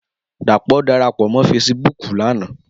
Dapo dàrápò mò fésibùk làná